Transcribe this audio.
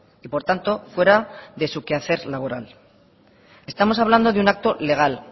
y por tanto fuera de su quehacer laboral estamos hablando de un acto legal